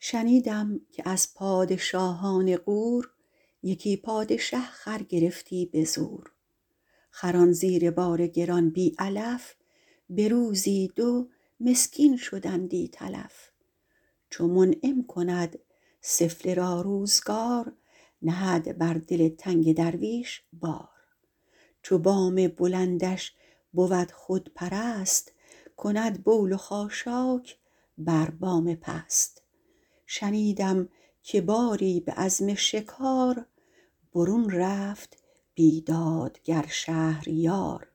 شنیدم که از پادشاهان غور یکی پادشه خر گرفتی به زور خران زیر بار گران بی علف به روزی دو مسکین شدندی تلف چو منعم کند سفله را روزگار نهد بر دل تنگ درویش بار چو بام بلندش بود خودپرست کند بول و خاشاک بر بام پست شنیدم که باری به عزم شکار برون رفت بیدادگر شهریار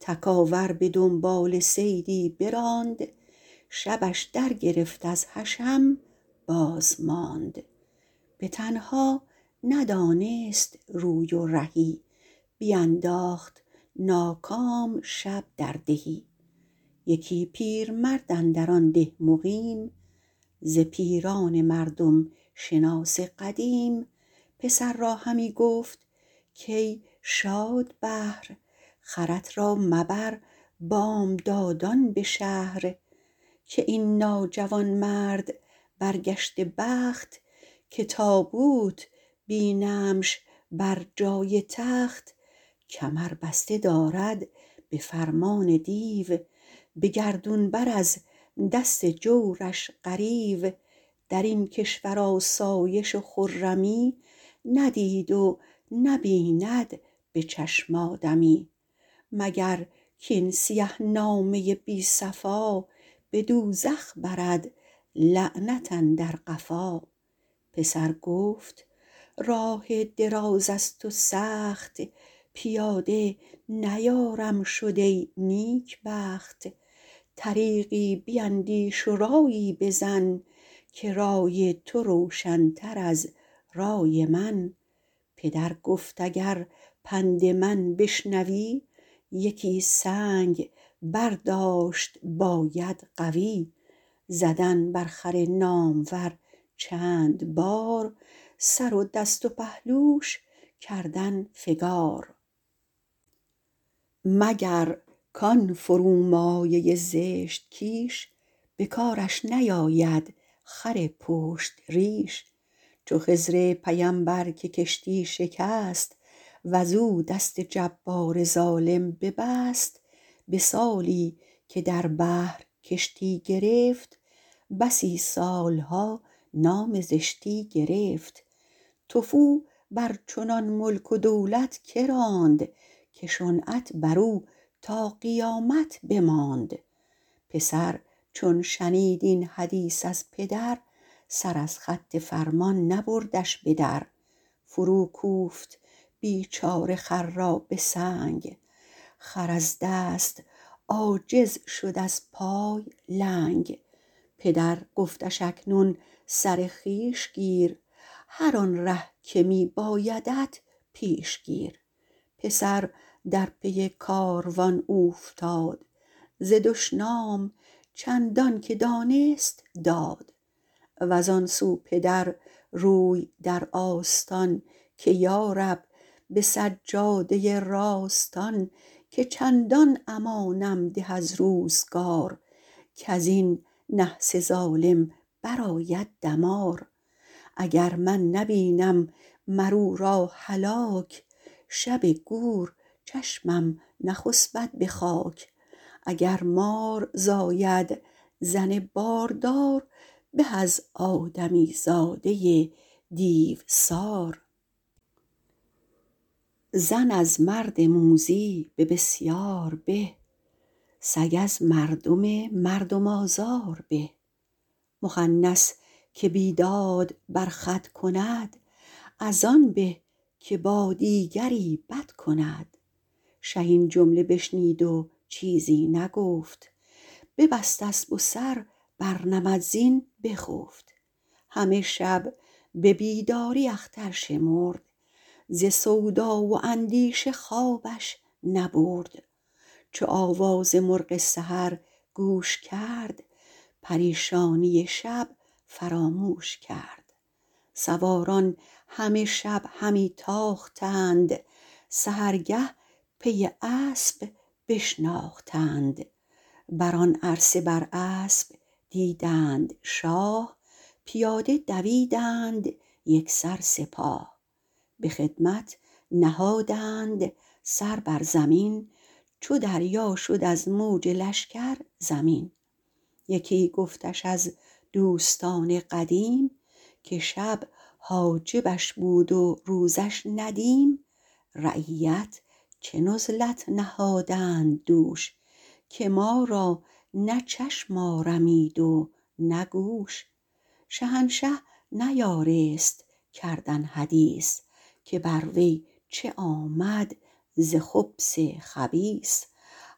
تکاور به دنبال صیدی براند شبش در گرفت از حشم باز ماند به تنها ندانست روی و رهی بینداخت ناکام شب در دهی یکی پیرمرد اندر آن ده مقیم ز پیران مردم شناس قدیم پسر را همی گفت کای شادبهر خرت را مبر بامدادان به شهر که این ناجوانمرد برگشته بخت که تابوت بینمش بر جای تخت کمر بسته دارد به فرمان دیو به گردون بر از دست جورش غریو در این کشور آسایش و خرمی ندید و نبیند به چشم آدمی مگر کاین سیه نامه بی صفا به دوزخ برد لعنت اندر قفا پسر گفت راه دراز است و سخت پیاده نیارم شد ای نیکبخت طریقی بیندیش و رایی بزن که رای تو روشن تر از رای من پدر گفت اگر پند من بشنوی یکی سنگ برداشت باید قوی زدن بر خر نامور چند بار سر و دست و پهلوش کردن فگار مگر کان فرومایه زشت کیش به کارش نیاید خر پشت ریش چو خضر پیمبر که کشتی شکست وز او دست جبار ظالم ببست به سالی که در بحر کشتی گرفت بسی سالها نام زشتی گرفت تفو بر چنان ملک و دولت که راند که شنعت بر او تا قیامت بماند پسر چون شنید این حدیث از پدر سر از خط فرمان نبردش به در فرو کوفت بیچاره خر را به سنگ خر از دست عاجز شد از پای لنگ پدر گفتش اکنون سر خویش گیر هر آن ره که می بایدت پیش گیر پسر در پی کاروان اوفتاد ز دشنام چندان که دانست داد وز آن سو پدر روی در آستان که یارب به سجاده راستان که چندان امانم ده از روزگار کز این نحس ظالم بر آید دمار اگر من نبینم مر او را هلاک شب گور چشمم نخسبد به خاک اگر مار زاید زن باردار به از آدمی زاده دیوسار زن از مرد موذی به بسیار به سگ از مردم مردم آزار به مخنث که بیداد بر خود کند از آن به که با دیگری بد کند شه این جمله بشنید و چیزی نگفت ببست اسب و سر بر نمد زین بخفت همه شب به بیداری اختر شمرد ز سودا و اندیشه خوابش نبرد چو آواز مرغ سحر گوش کرد پریشانی شب فراموش کرد سواران همه شب همی تاختند سحرگه پی اسب بشناختند بر آن عرصه بر اسب دیدند شاه پیاده دویدند یکسر سپاه به خدمت نهادند سر بر زمین چو دریا شد از موج لشکر زمین یکی گفتش از دوستان قدیم که شب حاجبش بود و روزش ندیم رعیت چه نزلت نهادند دوش که ما را نه چشم آرمید و نه گوش شهنشه نیارست کردن حدیث که بر وی چه آمد ز خبث خبیث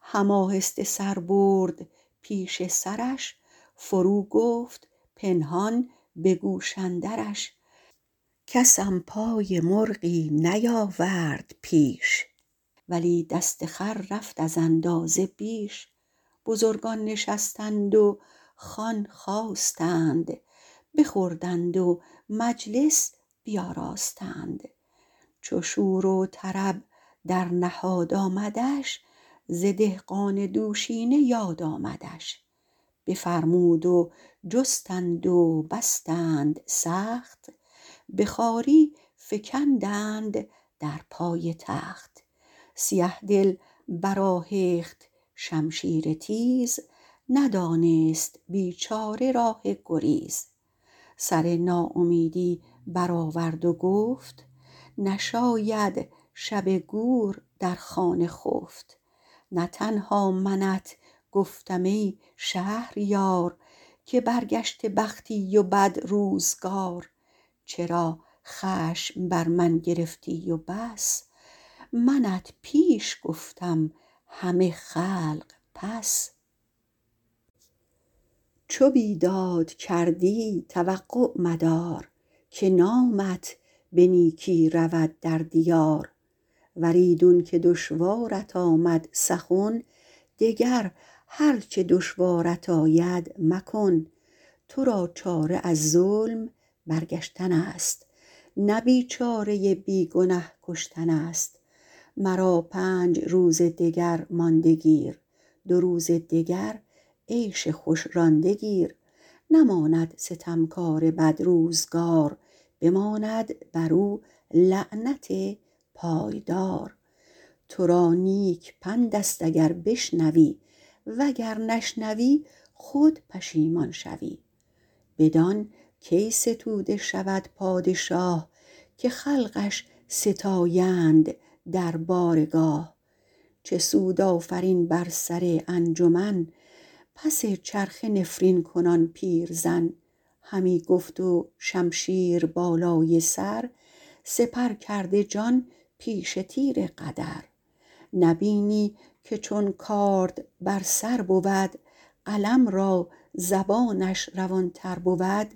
هم آهسته سر برد پیش سرش فرو گفت پنهان به گوش اندرش کسم پای مرغی نیاورد پیش ولی دست خر رفت از اندازه بیش بزرگان نشستند و خوان خواستند بخوردند و مجلس بیاراستند چو شور و طرب در نهاد آمدش ز دهقان دوشینه یاد آمدش بفرمود و جستند و بستند سخت به خواری فکندند در پای تخت سیه دل برآهخت شمشیر تیز ندانست بیچاره راه گریز سر ناامیدی برآورد و گفت نشاید شب گور در خانه خفت نه تنها منت گفتم ای شهریار که برگشته بختی و بد روزگار چرا خشم بر من گرفتی و بس منت پیش گفتم همه خلق پس چو بیداد کردی توقع مدار که نامت به نیکی رود در دیار ور ایدون که دشوارت آمد سخن دگر هر چه دشوارت آید مکن تو را چاره از ظلم برگشتن است نه بیچاره بی گنه کشتن است مرا پنج روز دگر مانده گیر دو روز دگر عیش خوش رانده گیر نماند ستمکار بد روزگار بماند بر او لعنت پایدار تو را نیک پند است اگر بشنوی وگر نشنوی خود پشیمان شوی بدان کی ستوده شود پادشاه که خلقش ستایند در بارگاه چه سود آفرین بر سر انجمن پس چرخه نفرین کنان پیرزن همی گفت و شمشیر بالای سر سپر کرده جان پیش تیر قدر نبینی که چون کارد بر سر بود قلم را زبانش روان تر بود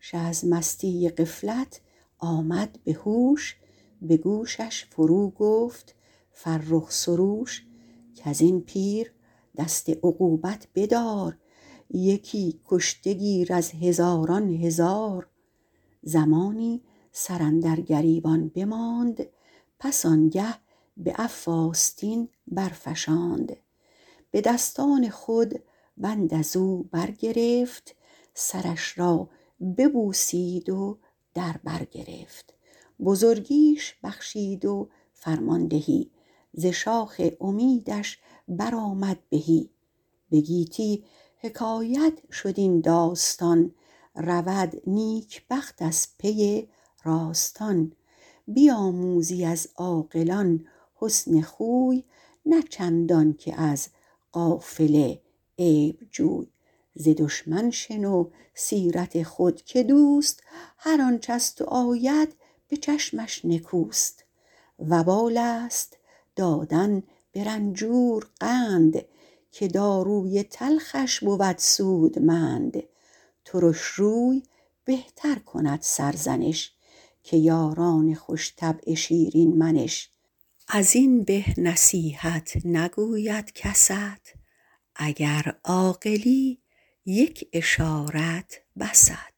شه از مستی غفلت آمد به هوش به گوشش فرو گفت فرخ سروش کز این پیر دست عقوبت بدار یکی کشته گیر از هزاران هزار زمانی سر اندر گریبان بماند پس آن گه به عفو آستین برفشاند به دستان خود بند از او برگرفت سرش را ببوسید و در بر گرفت بزرگیش بخشید و فرماندهی ز شاخ امیدش برآمد بهی به گیتی حکایت شد این داستان رود نیکبخت از پی راستان بیاموزی از عاقلان حسن خوی نه چندان که از غافل عیب جوی ز دشمن شنو سیرت خود که دوست هرآنچ از تو آید به چشمش نکوست وبال است دادن به رنجور قند که داروی تلخش بود سودمند ترش روی بهتر کند سرزنش که یاران خوش طبع شیرین منش از این به نصیحت نگوید کست اگر عاقلی یک اشارت بست